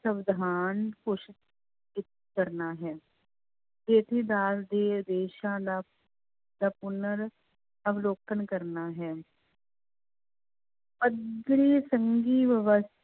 ਸਵਿਧਾਨ ਘੋਸ਼ਿਤ ਕ ਕਰਨਾ ਹੈ ਅਦਾਲਤ ਦੇ ਆਦੇਸ਼ਾਂ ਦਾ ਦਾ ਪੁਨਰ ਅਵਲੋਕਨ ਕਰਨਾ ਹੈ